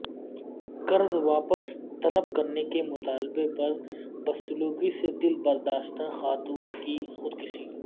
قرض واپس طلب کرنے کے مطالبہ پر بدسلوکی سے دل برداشتہ خاتون کی خودکشی